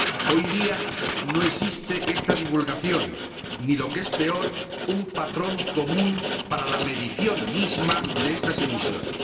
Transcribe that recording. Hoy día no existe esta divulgación ni, lo que es peor, un patrón común para la medición misma de estas emisiones.